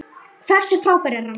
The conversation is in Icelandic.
Hversu frábær er hann?